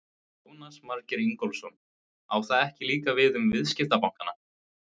Jónas Margeir Ingólfsson: Á það ekki líka við um viðskiptabankana?